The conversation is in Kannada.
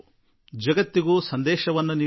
ಜಗತ್ತಿಗೂ ಸಂದೇಶ ಕೊಟ್ಟವು